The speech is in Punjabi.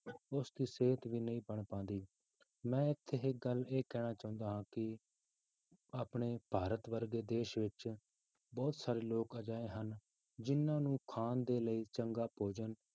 ਉਸ ਦੀ ਸਿਹਤ ਵੀ ਨਹੀਂ ਬਣ ਪਾਉਂਦੀ, ਮੈਂ ਇੱਥੇ ਇੱਕ ਗੱਲ ਇਹ ਕਹਿਣਾ ਚਾਹੁੰਦਾ ਹਾਂ ਕਿ ਆਪਣੇ ਭਾਰਤ ਵਰਗੇ ਦੇਸ ਵਿੱਚ ਬਹੁਤ ਸਾਰੇ ਲੋਕ ਅਜਿਹੇ ਹਨ, ਜਿੰਨਾਂ ਨੂੰ ਖਾਣ ਦੇ ਲਈ ਚੰਗਾ ਭੋਜਨ